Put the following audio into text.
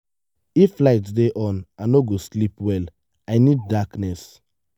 if light dey on i no go sleep well i need darkness.